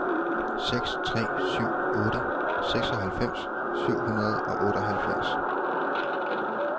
seks tre syv otte seksoghalvfems syv hundrede og otteoghalvfjerds